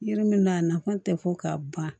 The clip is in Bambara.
Yiri min n'a nafa tɛ fɔ ka ban